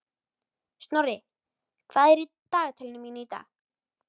Snorri, hvað er í dagatalinu mínu í dag?